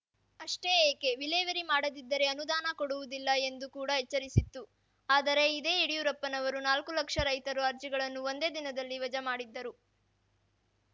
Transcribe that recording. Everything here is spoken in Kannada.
ಅಷ್ಟೇ ಏಕೆ ವಿಲೇವರಿ ಮಾಡದಿದ್ದರೆ ಅನುದಾನ ಕೊಡುವುದಿಲ್ಲ ಎಂದು ಕೂಡ ಎಚ್ಚರಿಸಿತ್ತು ಆದರೆ ಇದೇ ಯಡಿಯೂರಪ್ಪನವರು ನಾಲ್ಕು ಲಕ್ಷ ರೈತರ ಅರ್ಜಿಗಳನ್ನು ಒಂದೇ ದಿನದಲ್ಲಿ ವಜಾ ಮಾಡಿದ್ದರು